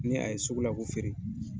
N ɲe a ye sugu la k'u feere.